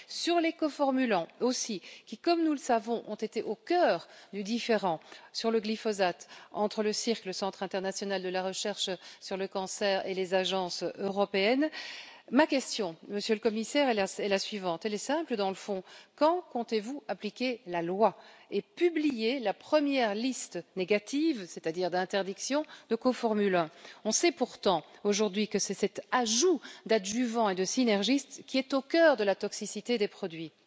En ce qui concerne les coformulants, qui, comme nous le savons, ont été au cœur du différend sur le glyphosate entre le centre international de recherche sur le cancer et les agences européennes, ma question, Monsieur le Commissaire, est simple, dans le fond quand comptez vous appliquer la loi et publier la première liste négative, c'est à dire d'interdiction, de coformulants? On sait pourtant, aujourd'hui, que l'ajout d'adjuvants et de synergistes est au cœur de la toxicité des produits.